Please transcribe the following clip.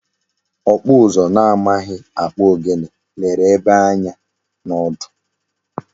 Okpu uzu na amaghi akpu ogene lere egbe anya na odu